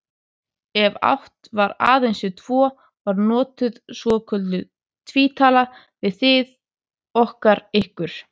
Ef átt var aðeins við tvo var notuð svokölluð tvítala, við, þið, okkar, ykkar.